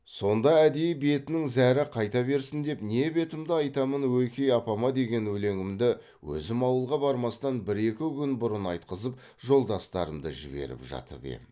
сонда әдейі бетінің зәрі қайта берсін деп не бетімді айтамын ойке апама деген өлеңімді өзім ауылға бармастан бір екі күн бұрын айтқызып жолдастарымды жіберіп жатып ем